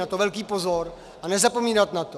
Na to velký pozor a nezapomínat na to.